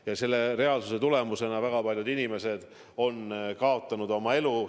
Ja selle reaalsuse tagajärjel on väga paljud inimesed kaotanud oma elu.